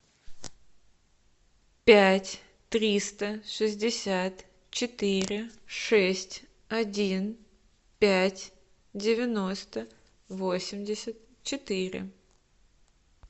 пять триста шестьдесят четыре шесть один пять девяносто восемьдесят четыре